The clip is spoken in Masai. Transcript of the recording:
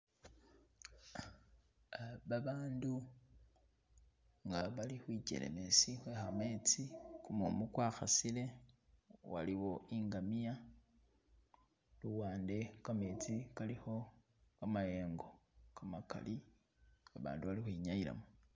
Ah babandu nga bali khwikelemesi khwe kametsi, kumumu kwa khasile , waliwo ingamya, luwande kametsi kalikho kamyengo kamakali abandu bali ukhwinyayilamo.